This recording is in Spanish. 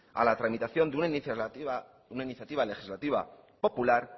a la tramitación de una iniciativa legislativa popular